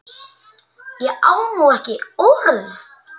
Ég á nú ekki orð!